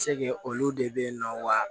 Se kɛ olu de bɛ ye nɔ wa